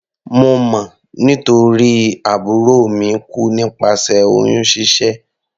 Mo mọ̀ nítorí àbúrò mi kú nípasẹ̀ oyún ṣíṣẹ́.